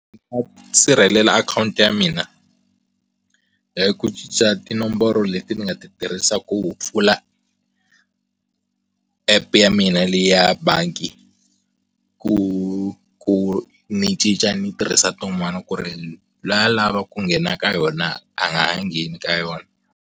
Sirhelela akhawunti ya mina hi ku cinca tinomboro leti ni nga ti tirhisaka ku pfula app ya mina leya bangi ku ku ni cinca ni tirhisa tin'wana ku ri loyi a lava ku nghena ka yona a nga ha ngheni ka yona.